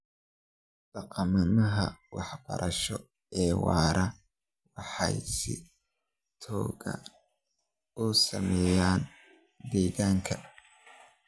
Dhaqannada waxbarasho ee waara waxay si togan u saameeyaan deegaanka.